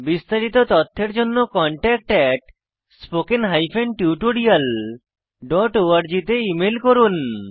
বিস্তারিত তথ্যের জন্য contactspoken tutorialorg তে ইমেল করুন